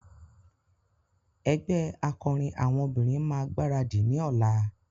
Ẹgbẹ́ akọrin àwọn obìnrin máa gbaradì ní ọ̀la.